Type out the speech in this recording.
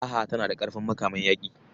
Raha tana da ƙarfin makaman yaƙi.